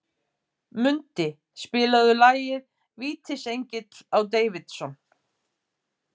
Mundi, spilaðu lagið „Vítisengill á Davidson“.